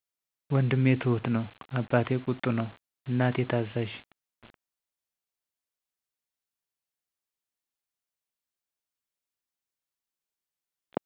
ወንድሜ ትሁት ነው አባቴ ቁጡ ነው እናቴ ታዛዥ